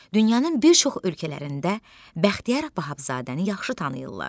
Dünyanın bir çox ölkələrində Bəxtiyar Vahabzadəni yaxşı tanıyırlar.